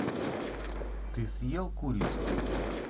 ты съел курицу